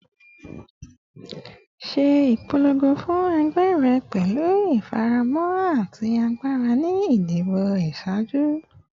Ṣe ipolongo fun ẹgbẹ rẹ pẹlu ifaramọ ati agbara ni idibo iṣaaju